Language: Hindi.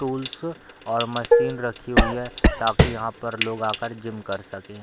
टूल्स और मशीन रखी हुई है ताकि यहाँ पर लोग आकर जिम कर सकें।